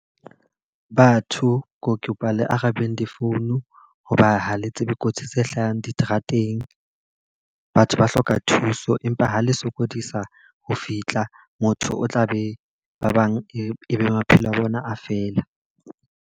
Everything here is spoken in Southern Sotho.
Batho ke kopa le arabang di-phone. Ho ba ha le tsebe kotsi tse hlahang diterateng, batho ba hloka thuso. Empa ha le sokodisa ho fihla motho o tla be ba bang e be maphelo a bona a fela.